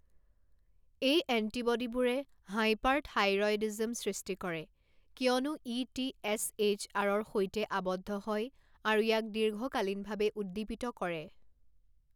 এই এণ্টিবডীবোৰে হাইপাৰথাইৰয়ডিজম সৃষ্টি কৰে কিয়নো ই টি এছ এইচ আৰৰ সৈতে আবদ্ধ হয় আৰু ইয়াক দীৰ্ঘকালীনভাৱে উদ্দীপিত কৰে।